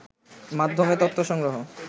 মাধ্যমে তথ্য সংগ্রহ